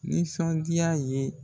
Nisɔndiya ye